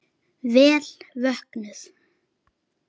Vel vöknuð!